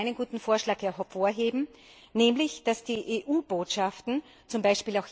Ich möchte einen guten Vorschlag hervorheben, nämlich, dass die EU Botschaften, z. B.